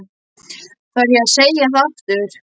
Þarf ég að segja það aftur?